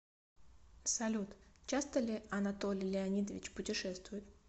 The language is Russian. салют часто ли анатолий леонидович путешествует